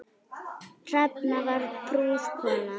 Hrefna var prúð kona.